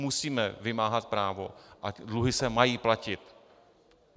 Musíme vymáhat právo a dluhy se mají platit.